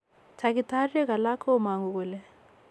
Takitarieg alak komangu kole